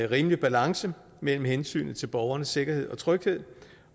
rimelig balance mellem hensynet til borgernes sikkerhed og tryghed